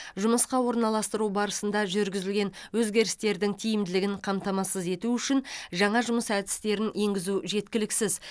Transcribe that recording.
жұмысқа орналастыру барысында жүргізілген өзгерістердің тиімділігін қамтамасыз ету үшін жаңа жұмыс әдістерін енгізу жеткіліксіз